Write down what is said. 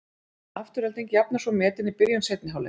Afturelding jafnar svo metin í byrjun seinni hálfleiks.